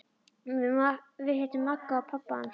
Við hittum Magga og pabba hans!